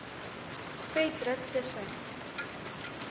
vet druk tussen